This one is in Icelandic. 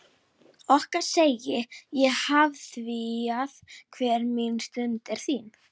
Okkar segi ég afþvíað hver mín stund er þín.